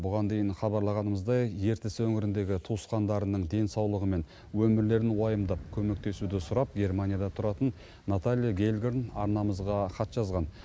бұған дейін хабарлағанымыздай ертіс өңіріндегі туысқандарының денсаулығы мен өмірлерін уайымдап көмектесуді сұрап германияда тұратын наталья гельгорн арнамызға хат жазған